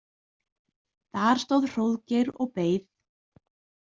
Þar stóð Hróðgeir og beið.